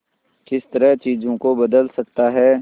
किस तरह चीजों को बदल सकता है